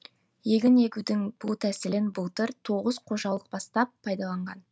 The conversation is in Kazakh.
егін егудің бұл тәсілін былтыр тоғыз қожалық бастап пайдаланған